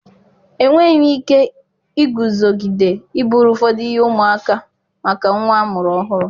enweghị m ike iguzogide iburu ụfọdụ ihe ụmụaka maka nwa amụrụ ọhụrụ.